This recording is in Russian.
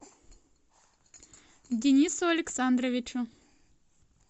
денису александровичу